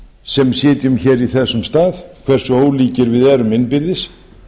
sem sitjum hér í þessum stað hversu ólíkir við erum innbyrðis